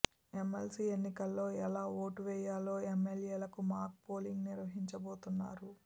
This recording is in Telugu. ఎమ్మెల్సీ ఎన్నికల్లో ఎలా ఓటు వెయ్యాలో ఎమ్మెల్యేలకు మాక్ పోలింగ్ నిర్వహించబోతున్నారు